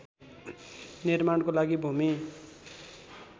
निर्माणको लागि भूमि